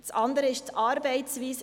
Das andere ist die Arbeitsweise.